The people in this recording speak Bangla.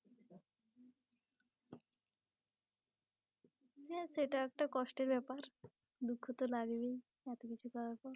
হ্যাঁ সেটা একটা কষ্টের ব্যাপার দুঃখ তো লাগবেই এত কিছু করার পর।